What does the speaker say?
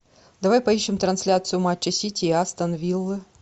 давай поищем трансляцию матча сити и астон виллы